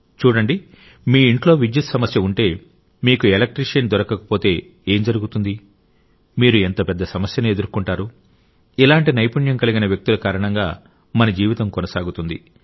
చూడండి మీ ఇంట్లో విద్యుత్ సమస్య ఉంటే మీకు ఎలక్ట్రీషియన్ దొరకకపోతే ఏం జరుగుతుంది మీరు ఎంత పెద్ద సమస్యను ఎదుర్కొంటారు ఇలాంటి నైపుణ్యం కలిగిన వ్యక్తుల కారణంగా మన జీవితం కొనసాగుతుంది